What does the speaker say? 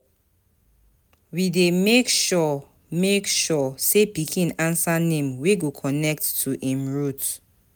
We dey make sure make sure sey pikin answer name wey go connect to im root.